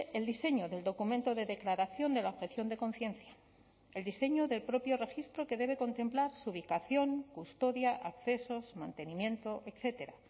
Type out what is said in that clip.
el diseño del documento de declaración de la objeción de conciencia el diseño del propio registro que debe contemplar su ubicación custodia accesos mantenimiento etcétera